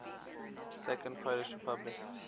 second polish republic